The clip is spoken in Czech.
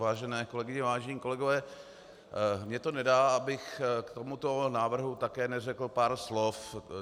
Vážené kolegyně, vážení kolegové, mně to nedá, abych k tomuto návrhu také neřekl pár slov.